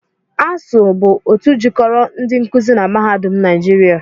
ASUU bụ otu jikoro ndi nkuzi na mahadum naịjịria